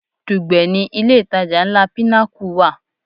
Dùgbẹ̀ ni ilé ìtajà ńlá Pinnacle wà.